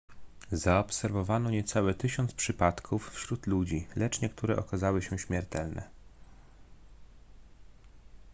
zaobserwowano niecałe tysiąc przypadków wśród ludzi lecz niektóre okazały się śmiertelne